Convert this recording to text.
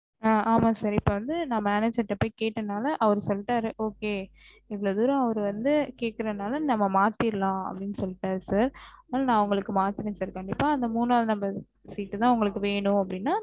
ஆஹ் ஆமா sir ந இப்ப வந்து manager கிட்ட கேட்டதுனால okay இவளவுதூரம் அவரு வந்து கேக்குறதுனால நம்ம மாத்திரலாம் அப்டின்னு சொல்லிட்டாரு sir ஆஹ் ந உங்களுக்கு மாத்துறேன் சார் கண்டிப்பா மூனா number seat தா உங்களுக்கு வேணும் அப்டின